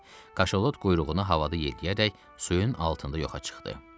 Kaşalot quyruğunu havada yeliyərək suyun altında yoxa çıxdı.